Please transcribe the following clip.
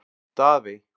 Daðey